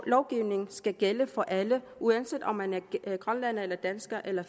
lovgivningen skal gælde for alle uanset om man er grønlænder eller dansker eller